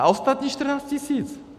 A ostatní 14 tisíc.